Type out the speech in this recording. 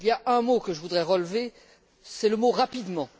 Il y a un mot que je voudrais relever, c'est le mot rapidement.